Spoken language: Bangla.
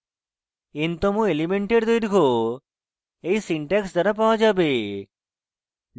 n তম এলিমেন্টের দৈর্ঘ্য এই সিনট্যাক্স দ্বারা পাওয়া যাবে